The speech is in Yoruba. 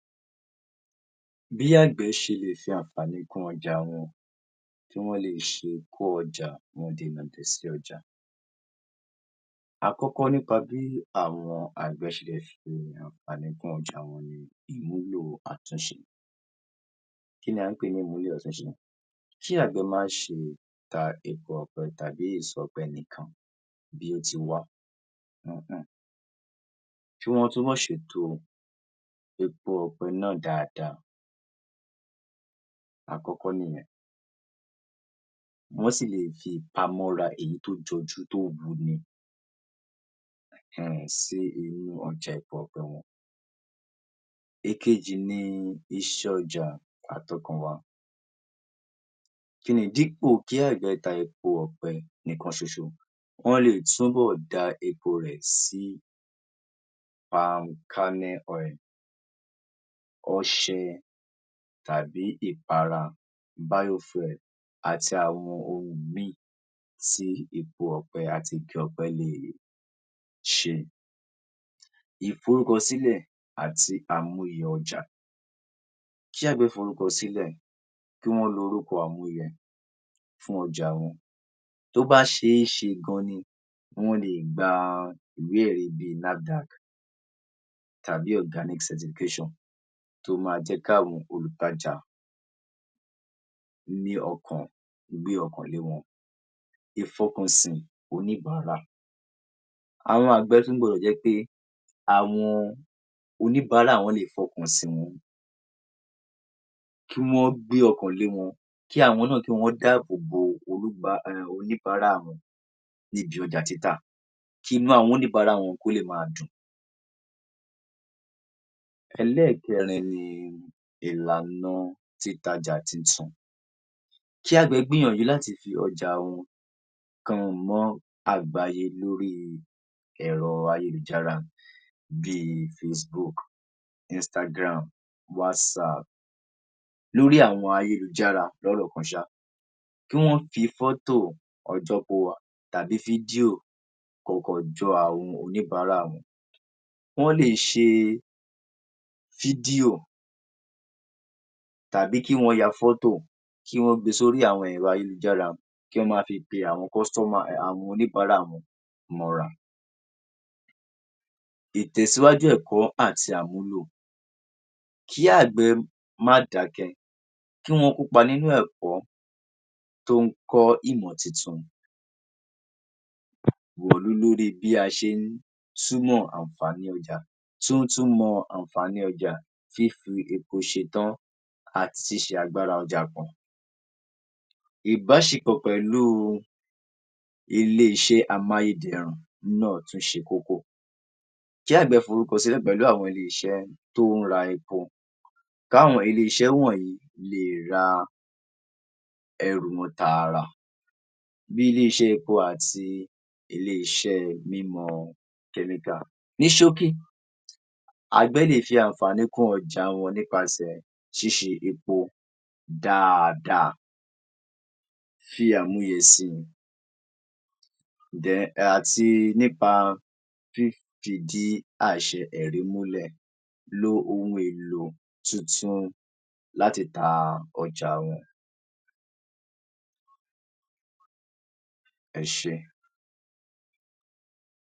Bí àgbẹ̀ ṣe lè fi àǹfàní kún ọjà wọn tí wọn ṣe le kó ọjà wọn lo lòdi sí ọjà. Akọ́kọ́ nípa bí àwọn àgbẹ̀ ṣe fi àǹfàní kún ọjà wọn lọ́wọ́ àtúnṣe kí ni a ń pè ní àtúnṣe tí àgbẹ̀ màa ǹ ṣe ta epo ọjà fẹ́nìkan bí ó tì mọ bí o ti lọ ni pé kí o má ṣe to epo ọ̀pẹ náà dáadáa. Akọ́kọ́ nìyẹn. Wọ́n sì lè fi àmúra èyí tó jọjú de ohun tí a mọ̀ sí epo mọ jẹ́ ọ̀pẹ lọ. Èkejì ni iṣẹ́ ọjà àtokùnbọ̀ láiní dípò kí àgbẹ̀ ta epo ọ̀pẹ nìka ṣoṣo wọ́n lè túnbọ̀ da epo rẹ̀ sí palm kernel oil, ọṣẹ tàbí ìpara bio oil àti àwọn ohun mìíì tí epo àti nǹkan ọ̀pẹ lè lò ṣe. Ìfoókọ sílẹ̀ àti àwọn èèyàn ọjà jábọ̀ ìfoókọ sílẹ̀, kí wọn lo àwọn ènìyàn yẹn fún ọjà wọn bo bá ṣe é ṣe gan-an ni wọn lè gba ìwé ẹ̀rí bíi NAFIDAC tàbí Organic centigration to máa jẹ́ káwọn òǹtajà ní ọkàn gbé ọkàn lé wọn ìfọkànsí oníbàárà. Ará agbájú náà jẹ́ pé àwọn oníbaárà wọn lè wọn kí àwọn náà kí wọn dáàbò bo orúkọ àwọn oníbàára wọn nídìí ọjà títà. Kínú àwọn oníbàárà wọn kó lè máa dùn. Ẹlẹ́ẹ̀kẹrin ni ìlànà títajà àti òsùnwọ̀n. Kí àgbẹ̀ gbìyànjú láti fi ọjà wọn kan hàn àgbáyé lórí ẹ̀rọ ayélujára bíi ìforúkọ sílẹ̀ face book, Istagram, whatssap lórí àwọn ayélujára lọ́rọ̀ kan ṣa, kí wọn fi fọ́tò àwọn ọjà wọn tàbí fídíò àwọn oníbàárà àwùjọ wọn. Wọ́n lè ṣe fídíò tàbí kí wọn ya fọ́tò kí wọn gbé e sórí àwọn ẹ̀rọ ayélujára kí wọn máa ti pe àwọn customers àwọn oníbàárà wọn mọ́ ní itẹ̀síwájú ẹ̀kọ́ àti àmúlò. Kí àgbẹ̀ má dàákẹ́ kí wọn kópa nínú ẹ̀kọ́ tó ń kọ́ ìmọ̀ tuntun lórí bí a ṣe ń súnmọ́ nǹkan èròjà mọ àǹfàní ọjà fífi epo ṣetán àti ṣiṣẹ agbára ọjà wọn. Ìbáṣepọ̀ pẹ̀lú ilé-iṣẹ́ amáyédẹrùn náà tún ṣe kókó. Kí àgbẹ̀ forúkọ sílẹ̀ pẹ̀lú àwọn ilé-iṣẹ́ wọ̀nyí lè ra ẹrù wọn tààrà nílé iṣẹ́ epo àti ilé-iṣẹ́ mímú telegraph. Ní ṣókí àgbẹ̀ lè fi àǹfàní kún ọjà wọn nípasẹ̀ síṣe epo dáadáa fi àwọn esì àti nípa jiji àìṣẹ́ ẹ̀rí múlẹ̀ lo ohun èlò tuntun láti ta ọjà wọn. Ẹ ṣé.